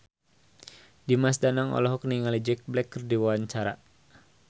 Dimas Danang olohok ningali Jack Black keur diwawancara